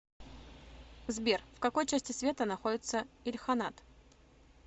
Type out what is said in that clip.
сбер в какой части света находится ильханат